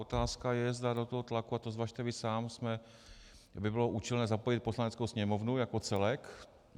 Otázka je, zda do toho tlaku, a to zvažte vy sám, by bylo účelné zapojit Poslaneckou sněmovnu jako celek.